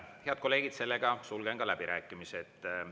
Head kolleegid, sellega sulgen läbirääkimised.